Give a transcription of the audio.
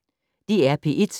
DR P1